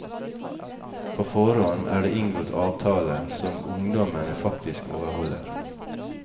På forhånd er det inngått avtaler, som ungdommene faktisk overholder.